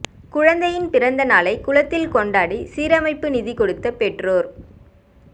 குழந்தையின் பிறந்த நாளை குளத்தில் கொண்டாடி சீரமைப்பு நிதி கொடுத்த பெற்றோர்